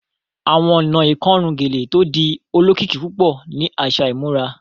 Awọn ọ̀nà ikorùn gẹ̀lẹ̀ tó dì òlòkikì púpọ̀ ni aṣa ìmúrà